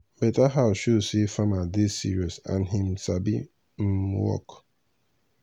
better house show say farmer dey serious and him sabi um work